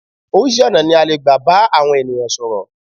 Oríṣi ọ̀nà ní a lè gbà bá àwọn ènìyàn sọ̀rọ̀.